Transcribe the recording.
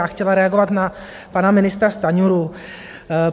Já chtěla reagovat na pana ministra Stanjuru.